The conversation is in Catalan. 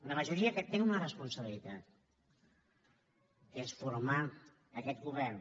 una majoria que té una responsabilitat que és formar aquest govern